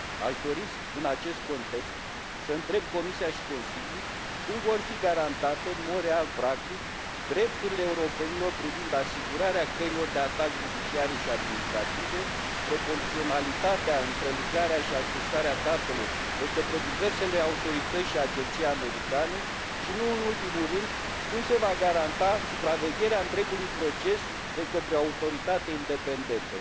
Aș dori în acest context să întreb Comisia și Consiliul cum vor fi garantate în mod real practic drepturile europenilor privind asigurarea căilor de atac judiciare și administrative, proporționalitatea în prelucrarea și accesarea datelor de către diversele autorități și agenții americane și, nu în ultimul rând, cum se va garanta supravegherea întregului proces de către o autoritate independentă.